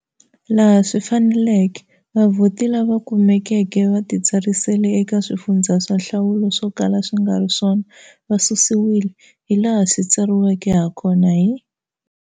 Laha swi faneleke, vavhoti lava kumekeke va titsarisele eka swifundza swa nhlawulo swo kala swi nga ri swona va susiwile, hilaha swi tsariweke hakona hi.